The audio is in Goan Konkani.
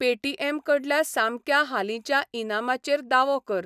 पेटीएम कडल्या सामक्या हालींच्या इनामाचेर दावो कर.